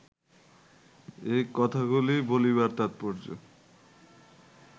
এই কথাগুলি বলিবার তাৎপর্য